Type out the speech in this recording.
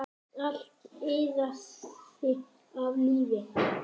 Allt iðaði af lífi.